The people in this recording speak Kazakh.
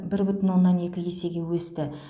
бір бүтін оннан екі есеге өсті